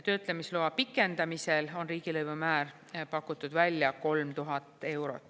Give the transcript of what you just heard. Töötlemisloa pikendamisel on riigilõivumäär pakutud välja 3000 eurot.